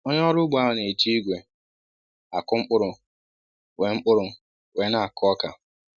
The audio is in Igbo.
Onye ọrụ ugbo ahụ n'eji ìgwè akụ mkpụrụ wee mkpụrụ wee n'akụ ọkà